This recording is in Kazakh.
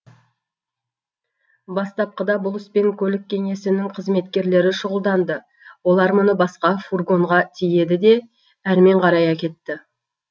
бастапқыда бұл іспен көлік кеңсесінің кызметкерлері шұғылданды олар мұны басқа фургонға тиеді де әрмен қарай әкетті